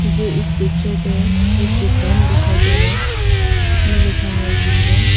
मुझे इस पिक्चर पे एक दुकान दिखाई दे रहा है उसमें लिखा हुआ है वीवो ।